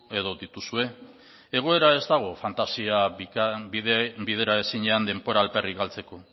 edo dituzue egoera ez dago fantasia bidera ezinean denbora alferrik galtzeko